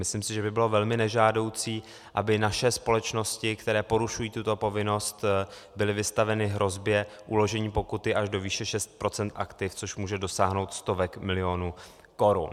Myslím si, že by bylo velmi nežádoucí, aby naše společnosti, které porušují tuto povinnost, byly vystaveny hrozbě uložení pokuty až do výše 6 % aktiv, což může dosáhnout stovek milionů korun.